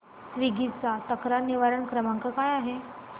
Swiggy चा तक्रार निवारण क्रमांक काय आहे